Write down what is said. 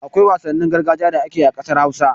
Akwai wasannin gargajiya da ake yi a ƙasar Hausa.